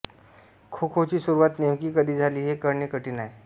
खोखोची सुरुवात नेमकी कधी झाली हे कळणे कठीण आहे